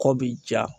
Kɔ bi ja